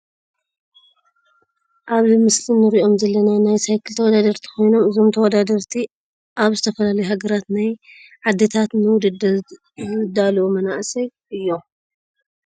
ኣብዚ ምስሊ እንሪኦም ዘለና ናይ ሳይክል ተወዳደርቲ ኮይኖም እዞም ተወዳደርቲ እዚኦም ካብ ዝተፈላለዩ ሃገራት ወይ ዓድታት ንውድድር ዝዳለዉ ዘለዉ መናእሰይ እዮም።